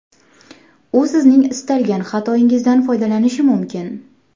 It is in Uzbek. U sizning istalgan xatoyingizdan foydalanishi mumkin.